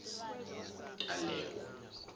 talewo